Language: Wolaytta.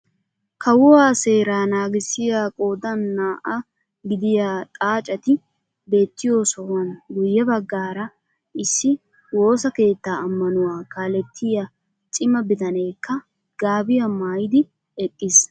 Kawuwaa seeraa naagissiyaa qoodan naa"aa gidiyaa xaacetti beettiyoo sohuwaan guye baggaara issi woossa keettaa ammanuwaa kalettiyaa cima bitaneekka gaabiyaa maayidi eqqiis.